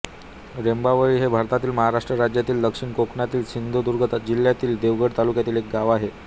रेंबावळी हे भारतातील महाराष्ट्र राज्यातील दक्षिण कोकणातील सिंधुदुर्ग जिल्ह्यातील देवगड तालुक्यातील एक गाव आहे